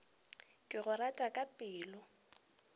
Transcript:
ke go rata ka pelo